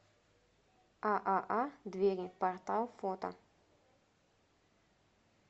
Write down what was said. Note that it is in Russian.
ааа двери портал фото